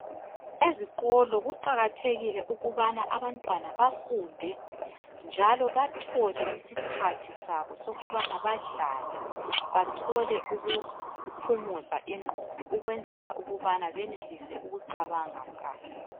Ezikolo kuqakathekile ukubana abantwana bafunde njalo bathole isikhathi sabo sokubana badlale, bathole ukuphumuza igqondo ukwenzela ukubana benelise ukucabanga kahle.